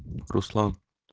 руслан